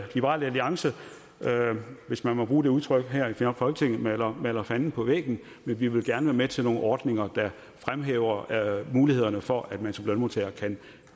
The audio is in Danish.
liberal alliance hvis man må bruge det udtryk her maler maler fanden på væggen men vi vil gerne være med til nogle ordninger der fremhæver mulighederne for at man som lønmodtager kan